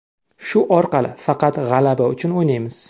Shu orqali faqat g‘alaba uchun o‘ynaymiz.